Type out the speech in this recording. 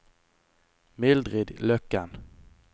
Mildrid Løkken